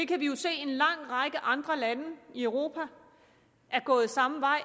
kan jo se at en lang række andre lande i europa er gået samme vej